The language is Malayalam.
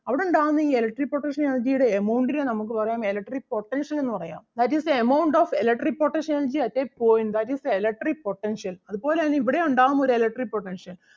അവിടുണ്ടാകുന്ന ഈ electric potential energy ടെ amount നെ നമുക്ക് പറയാം electric potential എന്ന് പറയാം that is the amount of electric potential energy at a point that is the electric potential അതുപോലെ തന്നെ ഇവിടേം ഉണ്ടാകും ഒരു electric potential